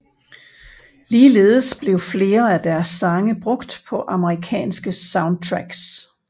Ligeledes blev flere af deres sange brugt på Amerikanske soundtracks